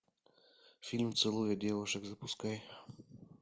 фильм целуя девушек запускай